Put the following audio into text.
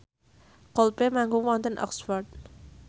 Coldplay manggung wonten Oxford